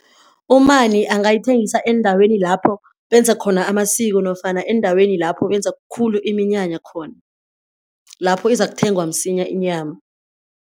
Umani angayithengisa eendaweni lapho benza khona amasiko nofana eendaweni lapho benza khulu iminyanya khona, lapho izakuthengwa msinya inyama.